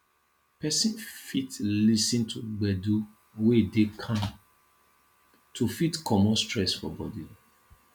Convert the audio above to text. person fit lis ten to gbedu wey dey calm to fit comot stress for body